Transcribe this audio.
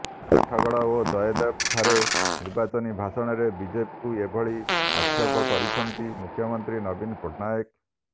ଆଠଗଡ ଓ ଜୟଦେବ ଠାରେ ନିର୍ବାଚନୀ ଭାଷଣରେ ବିଜେପିକୁ ଏଭଳି ଆକ୍ଷେପ କରିଛନ୍ତି ମୁଖ୍ୟମନ୍ତ୍ରୀ ନବୀନ ପଟ୍ଟନାୟକ